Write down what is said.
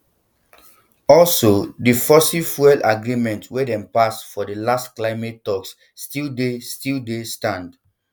also di fossil fuel agreements wey dem pass for di last climate talks still dey still dey stand